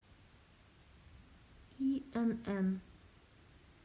инн